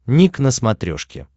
ник на смотрешке